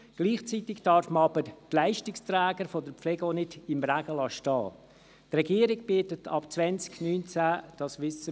Gleichzeitig darf man die Leistungsträger der Pflege aber nicht im Regen stehen lassen.